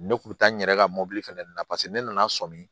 Ne kun mi taa n yɛrɛ ka mobili fana na paseke ne nana sɔmi